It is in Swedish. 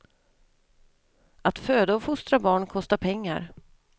Att föda och fostra barn kostar pengar.